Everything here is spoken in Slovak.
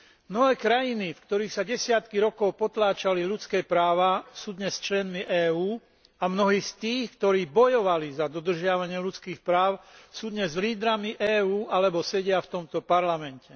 Mnohé krajiny, v ktorých sa desiatky rokov potláčali ľudské práva, sú dnes členmi EÚ a mnohí z tých, ktorí bojovali za dodržiavanie ľudských práv, sú dnes lídrami EÚ alebo sedia v tomto parlamente.